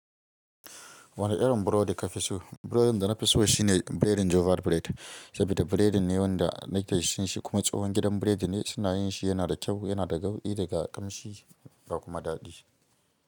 Wane irin burodi ka fi so? Burodin da na fi so shi ne biredin jovar bired, saboda biredin ne wanda na ke cin shi kuma tsohon gidan biredi ne suna yin shi, yana da kyau, yana da nauɗi daga ƙanshi da kuma daɗi.